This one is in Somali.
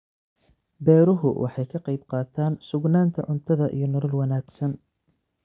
Beeruhu waxay ka qaybqaataan sugnaanta cuntada iyo nolol wanaagsan.